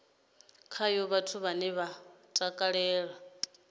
khayo vhathu vhane vha takalela